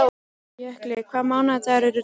Jökla, hvaða mánaðardagur er í dag?